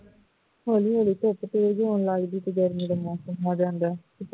ਹੌਲੀ ਹੌਲੀ ਧੁੱਪ ਤੇਜ਼ ਲੱਗਦੀ ਤੇ ਗਰਮੀ ਦਾ ਮੌਸਮ ਆ ਜਾਂਦਾ ਹੈ